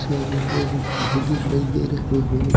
सारे लोग भी दिखाई दे रहे हैं।